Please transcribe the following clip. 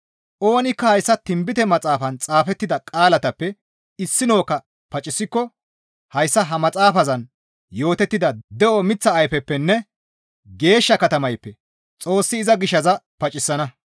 Oonikka hayssa tinbite maxaafaan xaafettida qaalatappe issinokka pacisikko hayssa ha maxaafazan yootettida de7o miththa ayfeppenne geeshsha katamayppe Xoossi iza gishaza pacisana.